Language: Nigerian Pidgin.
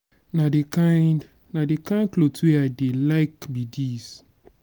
na the kin na the kin cloth wey i dey like be dis.